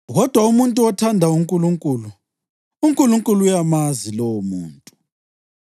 Kodwa umuntu othanda uNkulunkulu, uNkulunkulu uyamazi lowomuntu.